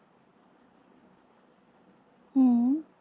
हम्म.